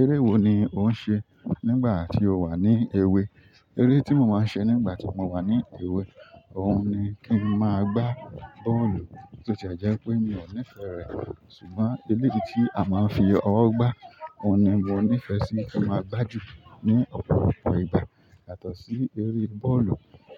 Eré wo ni ò ń ṣe nígbà tí o wà ní èwe? Eré tí mo máa n ṣe nígbàtí mo wà ní èwe, òhun ni kí n máa gbá bọ́ọ̀lù, bóti ẹ̀ jẹ pé mi o nífẹẹ rẹ̀, ṣùgbọ́n eléyìí tí a máa ń fi ọwọ́ gba, ohun ní mo nífẹẹ sí kí n máa gbá jù, ní ọpọ, ọpọ ìgbà yàtọ̀ sí eré bọ́ọ̀lù,